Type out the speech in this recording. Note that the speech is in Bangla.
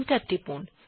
এন্টার টিপুন